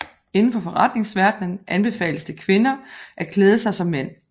Inden for forretningsverdenen anbefales det kvinder at klæde sig som mænd